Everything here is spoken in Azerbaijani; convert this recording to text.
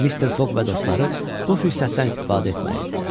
Mister Foq və dostları bu fürsətdən istifadə etməli idilər.